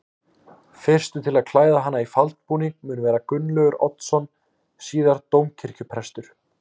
Fyrstur til að klæða hana í faldbúning mun vera Gunnlaugur Oddsson síðar dómkirkjuprestur.